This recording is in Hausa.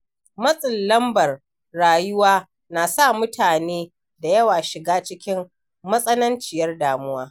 Matsin lambar rayuwa na sa mutane da yawa shiga cikin matsananciyar damuwa.